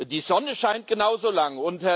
Die Sonne scheint genauso lange.